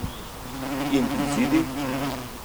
In izidi?